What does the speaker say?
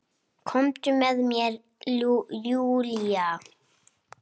Komdu með mér Júlía.